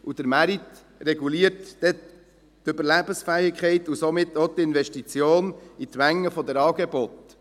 Der Markt reguliert dann auch die Überlebensfähigkeit und somit auch die Investition in die Menge der Angebote.